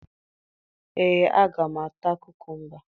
Ee, aga m ata kukumba